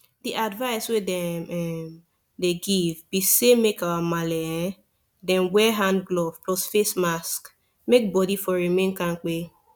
the advice wey dem um dey give be say make our marle um dem wear hand glove plus face mask make body for remain kampe